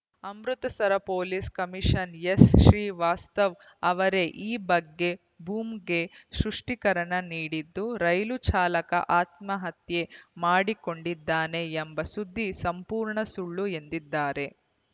Amritsar police commission ಎಸ್‌ಶ್ರೀವಾಸ್ತವ ಅವರೇ ಈ ಬಗ್ಗೆ ಬೂಮ್‌ಗೆ ಸ್ಪಷ್ಟೀಕರಣ ನೀಡಿದ್ದು ರೈಲು ಚಾಲಕ ಆತ್ಮಹತ್ಯೆ ಮಾಡಿಕೊಂಡಿದ್ದಾನೆ ಎಂಬ ಸುದ್ದಿ ಸಂಪೂರ್ಣ ಸುಳ್ಳುಎಂದಿದ್ದಾರೆ